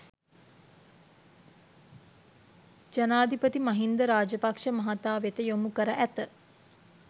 ජනාධිපති මහින්ද රාජපක්‍ෂ මහතා වෙත යොමු කර ඇත